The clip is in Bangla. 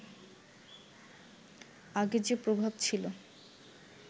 আগে যে প্রভাব ছিল